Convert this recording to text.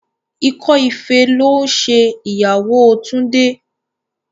Ikọ́ ife ló ń ṣe ìyàwó Túndé.